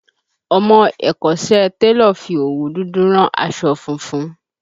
Ọmọ ẹ̀kọ́ṣẹ́ télọ̀ fi òwú dúdú rán aṣọ funfun